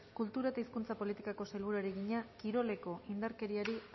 kultura eta hizkuntza politikako sailburuari egina kiroleko indarkeriari